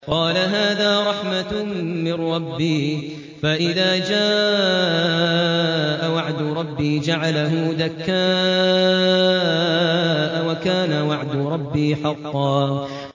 قَالَ هَٰذَا رَحْمَةٌ مِّن رَّبِّي ۖ فَإِذَا جَاءَ وَعْدُ رَبِّي جَعَلَهُ دَكَّاءَ ۖ وَكَانَ وَعْدُ رَبِّي حَقًّا